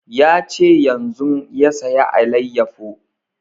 Ya ce yanzun ya saya alayyafo